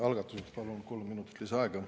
Algatuseks palun kolm minutit lisaaega.